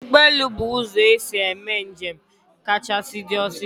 Ụgbọelu bu ụzọ esi eme njem kachasị di osiso